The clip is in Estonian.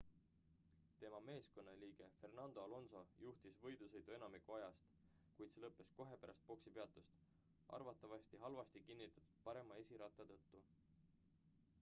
tema meeskonnaliige fernando alonso juhtis võidusõitu enamik ajast kuid see lõppes kohe pärast boksipeatust arvatavasti halvasti kinnitatud parema esiratta tõttu